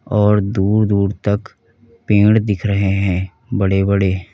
और दूर दूर तक पेड़ दिख रहे हैं बड़े बड़े।